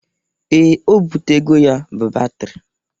Ee, o bụtego ya bụ batịrị